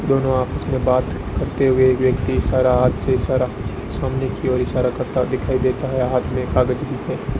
दोनों ऑफिस में बात करते हुए एक व्यक्ति इशारा हाथ से इशारा सामने की ओर इशारा करता दिखाई देता है हाथ मे एक कागज भी है।